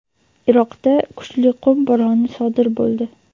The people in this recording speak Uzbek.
Iroqda kuchli qum bo‘roni sodir bo‘ldi.